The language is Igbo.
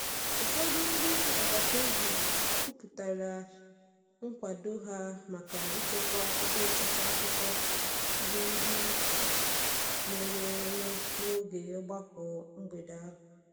Ụfọdụ um ndị agbata obi kwupụtara nkwado um ha maka ịchekwa ebe etiti akụkọ ihe nde mere eme n’oge ogbako mgbede ahụ.